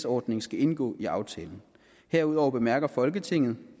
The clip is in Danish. ordning skal indgå i aftalen herudover bemærker folketinget